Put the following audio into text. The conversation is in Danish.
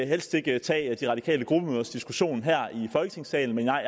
helst ikke tage de radikales gruppemødediskussioner her i folketingssalen men nej